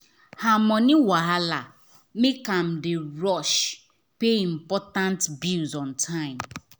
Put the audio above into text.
her money wahala make am dey rush pay important bills on time.